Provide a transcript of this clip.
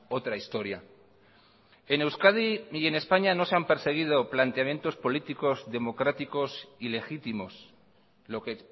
otra historia en euskadi y en españa no se han perseguido planteamientos políticos democráticos y legítimos lo que